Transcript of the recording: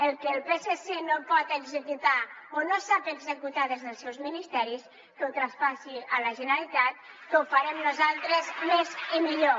el que el psc no pot executar o no sap executar des dels seus ministeris que ho traspassi a la generalitat que ho farem nosaltres més i millor